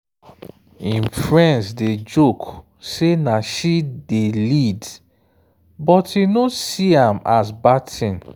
im friends dey joke say na she dey lead but e no see am as bad thing.